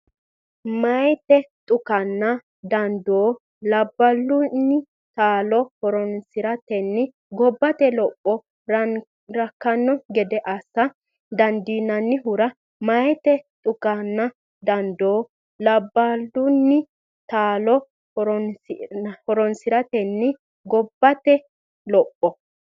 Meyaate dhukanna dandoo labballunni taalo horoonsi’ratenni gobbate lopho rakkanno gede assa dandiinannihura Meyaate dhukanna dandoo labballunni taalo horoonsi’ratenni gobbate lopho.